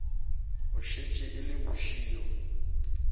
e šetše e le bošego